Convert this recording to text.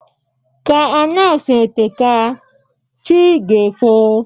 Ka anyasị eteka, chi ga-efo